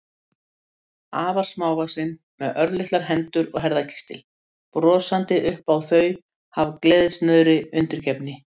Afar smávaxin, með örlitlar hendur og herðakistil, brosandi upp á þau af gleðisnauðri undirgefni.